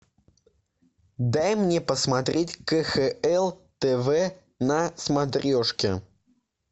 дай мне посмотреть кхл тв на смотрешке